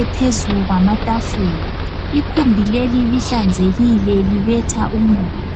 ephezu kwamatafula ikhumbi leli lihlanzekile libetha umoya.